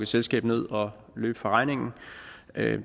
selskab ned og løbe fra regningen